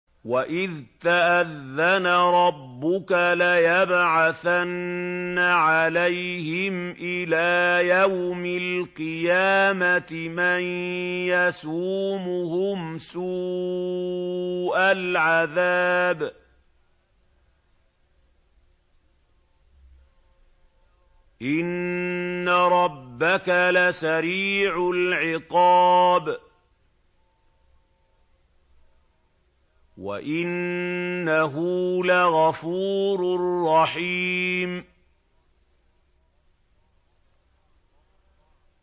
وَإِذْ تَأَذَّنَ رَبُّكَ لَيَبْعَثَنَّ عَلَيْهِمْ إِلَىٰ يَوْمِ الْقِيَامَةِ مَن يَسُومُهُمْ سُوءَ الْعَذَابِ ۗ إِنَّ رَبَّكَ لَسَرِيعُ الْعِقَابِ ۖ وَإِنَّهُ لَغَفُورٌ رَّحِيمٌ